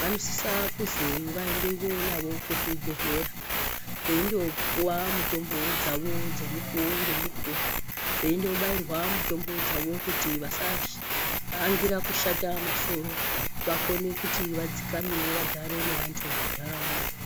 vanosisa kuzi vaendiwe nawo kuzvibhedhlera veindopiwa mitombo dzawo dzemukuwo ngemukuwo veindobairwa mutombo dzawo kuti vasa angira kushata masoro kuti vadzikame wo vagaare nevantu muntaraunda.